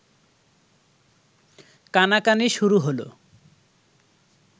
কানাকানি শুরু হল